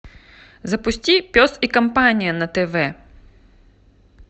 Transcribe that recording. запусти пес и компания на тв